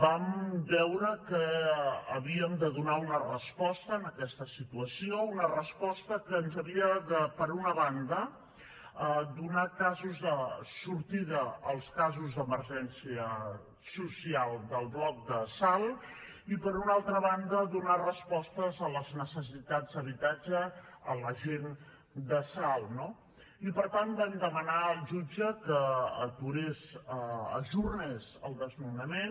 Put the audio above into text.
vam veure que havíem de donar una resposta a aquesta situació una resposta que ens havia de per una banda donar sortida als casos d’emergència social del bloc de salt i per una altra banda donar respostes a les necessitats d’habitatge de la gent de salt no i per tant vam demanar al jutge que aturés ajornés el desnonament